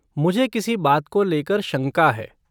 मुझे किसी बात को लेकर शंका है।